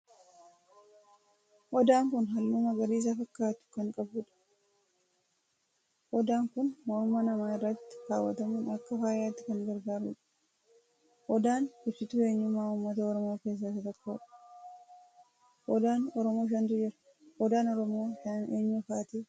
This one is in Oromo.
Odaan kun halluu magariisa fakkaatu kan qabudha. Odaan kun morma namaa irratti kaawwatamuun akka faayaatti kan gargaarudha. Odaan ibsituu eenyummaa uummata Oromoo keessaa isa tokkodha. Odaan Oromoo shantu jira. Odaan Oromoo shanan eenyu faati?